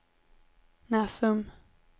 Näsum